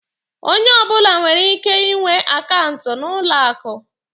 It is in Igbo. Onye ọbụla nwere ike ị nwe akaụntụ n'ụlọ akụ.